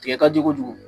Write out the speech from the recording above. Tigɛ ka jugu kojugu